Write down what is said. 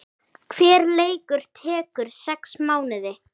Hver leikur tekur sex mánuði